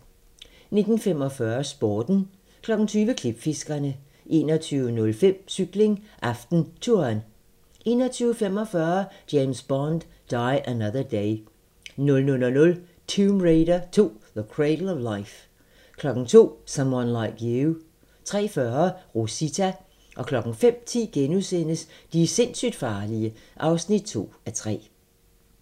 19:45: Sporten 20:00: Klipfiskerne 21:05: Cykling: AftenTouren 21:45: James Bond: Die Another Day 00:00: Tomb Raider 2: The Cradle of Life 02:00: Someone Like You 03:40: Rosita 05:10: De sindssygt farlige (2:3)*